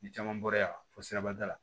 Ni caman bɔra yan fɔ sirabada la